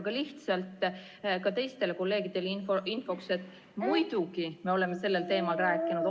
Aga lihtsalt ka teistele kolleegidele infoks, et muidugi me oleme sellel teemal rääkinud.